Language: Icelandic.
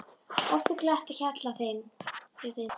Oft er glatt á hjalla hjá þeim.